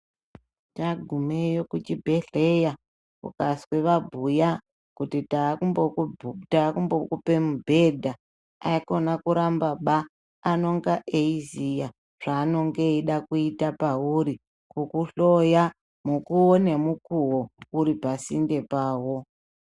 Tagumeyo kuchibhedhleya ukazwa vabhuya kuti taakumbokupa mubhedha ikona kurambaba anenge eiziya zvainonge eida kuita pauri kukuhloya mukuwo nemukuwo uripasinde pawo.